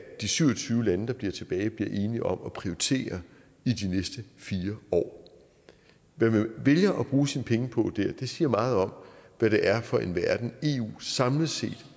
de syv og tyve lande der bliver tilbage bliver enige om at prioritere i de næste fire år hvad man vælger at bruge sine penge på der siger meget om hvad det er for en verden eu samlet set